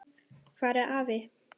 Hvar er afi?